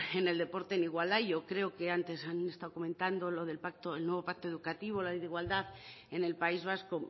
en el deporte en igualdad yo creo que antes han estado comentando lo del nuevo pacto educativo la ley de igualdad en el país vasco